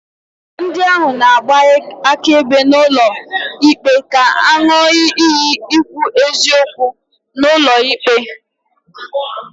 Ndi ahụ na-agba akaebe n'ulo ikpe ga-aṅụ iyi ikwu eziokwu n'ulo ikpe.